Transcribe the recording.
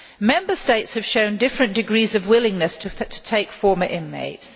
Member States have shown different degrees of willingness to take former inmates.